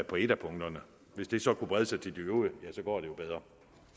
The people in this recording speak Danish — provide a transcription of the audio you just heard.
på et af punkterne hvis det så kunne brede sig til de øvrige ja så går det jo bedre